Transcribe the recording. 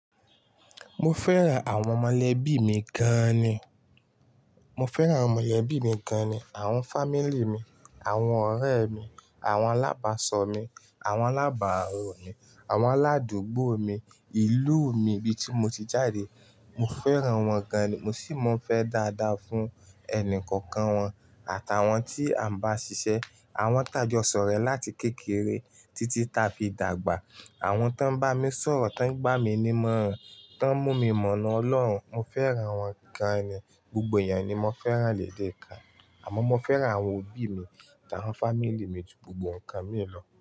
Mo fẹ́ran àwọn mọ̀lẹ́bí mi gan ni. Mo fẹ́ran awon mọ̀lẹ́bí mi gan ni. Àwọn fámílì mi, àwọn ọ̀rẹ́ mi, àwọn alábàsọ̀ mi, àwọn alábàárò mi, àwọn aládùúgbò mi, ìlú mi bí ti mo ti jáde. Mo fẹ́ran wọn gan ni. Mo sì mọ fẹ́ dáadáa fún ẹnì kọ̀ọ̀kan wọn àtàwọn tí à ń bá ṣiṣẹ́. Àwọn tà jo s'ore láti kékeré títí tà fi dàgbà. Àwọn tó ń bá mi sọ̀rọ̀, tó ń gba mi ní mọ̀ọ́ràn, tó ń mú mi mọ̀nà Ọlọ́run. Mo fẹ́ran wọn gan ni. Gbogbo èèyàn ni mo fẹ́ran léde kan. Àmọ́ mo fẹ́ran àwọn òbí mi ati àwọn fámílì mi ju gbogbo ǹkan míì lọ.